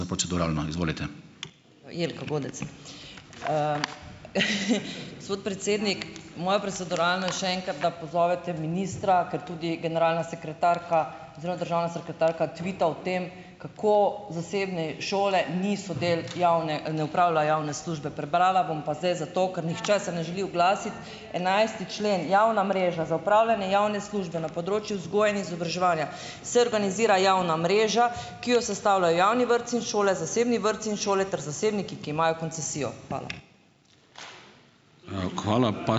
Jelka Godec. Gospod predsednik, moje proceduralno je še enkrat, da pozovete ministra, ker tudi generalna sekretarka oziroma državna sekretarka tvita o tem, kako zasebne šole niso del javne, ne opravljajo javne službe. Prebrala bom pa zdaj zato, ker nihče se ne želi oglasiti. Enajsti člen: Javna mreža. Za opravljanje javne službe na področju vzgoje in izobraževanja se organizira javna mreža, ki jo sestavljajo javni vrtci in šole, zasebni vrtci in šole ter zasebniki, ki imajo koncesijo. Hvala.